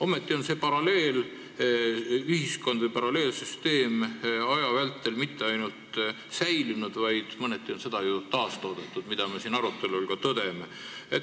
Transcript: Ometi on see paralleelühiskond või paralleelsüsteem aja vältel mitte ainult säilinud, vaid mõneti on seda ju taastoodetud, mida me siin arutelul ka tõdeme.